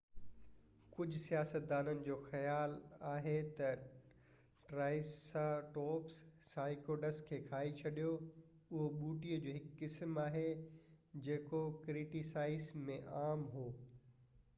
ڪجهہ سائنسدانن جو خيال آهي تہ ٽرائيسراٽوپس سائڪڊس کي کائي ڇڏيو اهو ٻوٽي جو هڪ قسم آهي جيڪو ڪريٽاسيئس م عام هو